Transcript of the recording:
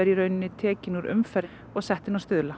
í raun tekin úr umferð og sett inn á Stuðla